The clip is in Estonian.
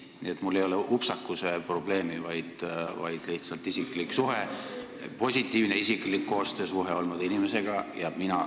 Nii et mul ei ole upsakuse probleemi, vaid lihtsalt mul on olnud inimesega positiivne isiklik koostöösuhe.